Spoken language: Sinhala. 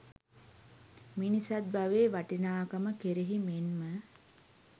මිනිසත් බවේ වටිනාකම කෙරෙහි මෙන්ම